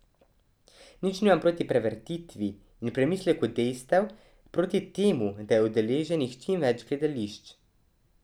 Nič nimam proti prevetritvi in premisleku dejstev, proti temu, da je udeleženih čim več gledišč.